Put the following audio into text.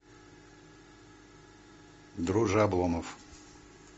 друже обломов